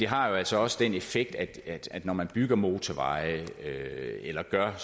har jo altså også den effekt at når man bygger motorveje eller gør